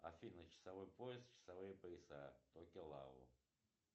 афина часовой пояс часовые пояса